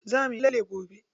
Za muyi lalle gobe?